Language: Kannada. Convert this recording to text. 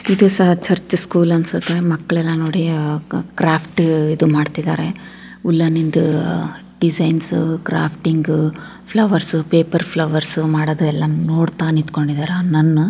ಇದು ಸಹ ಚರ್ಚ್ ಸ್ಕೂಲ್ ಅಂತ ಅನ್ಸುತ್ತೆ ಮಕ್ಳನ್ನ ನೋಡಿ ಏನು ಗ್ರಾಫ್ಡ್ ಮಾಡ್ತಿದ್ದಾರೆ ನಿಂತು ಡಿಸೈನ್ಸು ಗ್ರಾಫ್ ಟು ಪ್ಲಾಸ್ಟಿಕ್ ಮಿಸ್ ಯು ಮಾಡದೆಲ್ಲ ನೋಡ್ತಾ ನಿಂತ್ಕೊಂಡಿದ್ದಾರೆ.